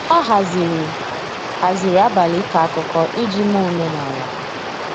ha haziri haziri abali iko akụkọ iji mee omenala.